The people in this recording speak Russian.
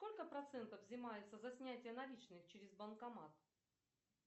сколько процентов взимается за снятие наличных через банкомат